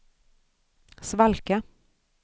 svalka